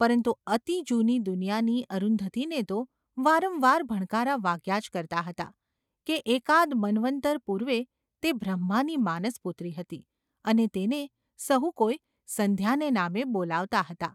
પરંતુ અતિ જૂની દુનિયાની અરુંધતીને તો વારંવાર ભણકારા વાગ્યા જ કરતા હતા, કે એકાદ મન્વંતર પૂર્વે તે બ્રહ્માની માનસપુત્રી હતી અને તેને સહુ કોઈ ‘સંધ્યા’ને નામે બોલાવતા હતા.